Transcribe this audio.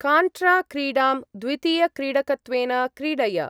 काण्ट्रा-क्रीडां द्वितीय-क्रीडकत्वेन क्रीडय।